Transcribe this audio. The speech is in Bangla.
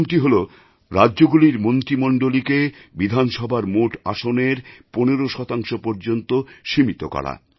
প্রথমটি হল রাজ্যগুলির মন্ত্রীমণ্ডলীকে বিধানসভার মোট আসনের পনের শতাংশ পর্যন্ত সীমিত করা